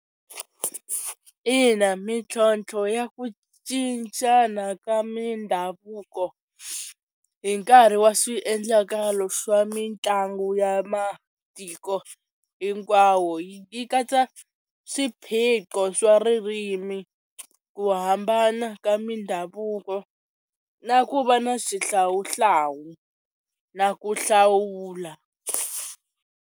Ina mintlhontlho ya ku cincana ka mindhavuko hi nkarhi wa swiendlakalo swa mitlangu ya matiko hinkwawo yi katsa swiphiqo swa ririmi ku hambana ka mindhavuko na ku va na xihlawuhlawu na ku hlawula.